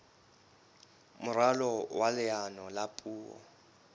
moralo wa leano la puo